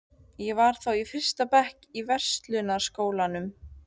Ég var þá í fyrsta bekk í Verslunarskólanum.